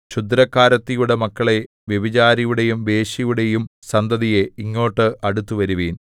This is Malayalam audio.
ക്ഷുദ്രക്കാരത്തിയുടെ മക്കളേ വ്യഭിചാരിയുടെയും വേശ്യയുടെയും സന്തതിയേ ഇങ്ങോട്ട് അടുത്തുവരുവിൻ